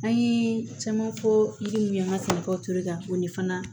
An ye caman fɔ yiri min ye an ka sɛnɛkaw to yen ka o de fana